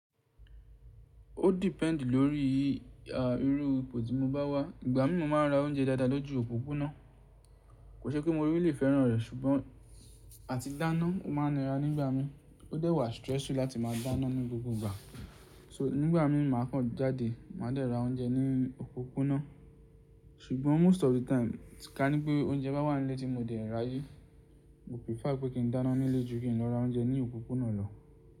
Ó depend lórí i irú ipò tí mo bá wà. Ìgbà mi mo máa ra oúnjẹ dáadáa lójú òpópónà. Kò ṣe pé mo rí lè fẹ́ràn rẹ̀ ṣùgbọ́n àti dáná o máa nira nígbà mi. Ó dẹ́wà stressy láti máa dáná ní gbogbo ìgbà. So nígbà mi màá kan jáde, màá dẹ̀ ra oúnjẹ ní òpópónà. Ṣùgbọ́n most of the time tí ka ní pé oúnjẹ bá wà nílé tí mo dẹ̀ rí àyè, mo prefer pé kí n dáná nílé ju kí n lọ ra oúnjẹ ní òpópónà lọ.